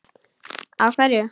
Á hverju?